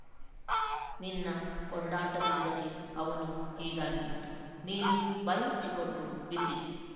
ನಿನ್ನ ಕೊಂಡಾಟದಿಂದಲೇ ಅವನು ಹೀಗಾಗಿರುವುದು ನೀನು ಬಾಯ್ಮುಚ್ಚಿಕೊಂಡು ಬಿದ್ದಿರು